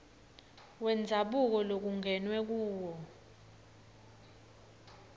wendzabuko lokungenwe kuwo